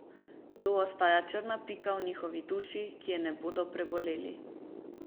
To ostaja črna pika v njihovi duši, ki je ne bodo preboleli.